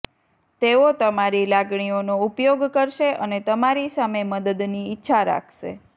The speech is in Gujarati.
તેઓ તમારી લાગણીઓનો ઉપયોગ કરશે અને તમારી સામે મદદની ઇચ્છા રાખશે